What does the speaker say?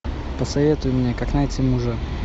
посоветуй мне как найти мужа